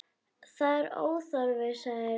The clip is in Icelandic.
Það er óþarfi, sagði Lóa.